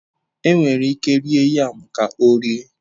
Enwere ike rie yam ka ọ rie.